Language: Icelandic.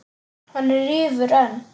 Hann rífur enn.